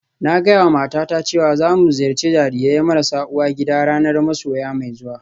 Na gaya wa matata cewa za mu ziyarci jarirai marasa uwa gida ranar masoya mai zuwa